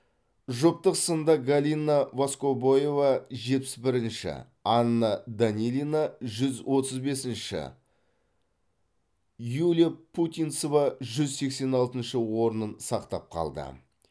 жұптық сында галина воскобоева жетпіс бірінші анна данилина жүз отыз бесінші юлия путинцева жүз сексен алтыншы орнын сақтап қалды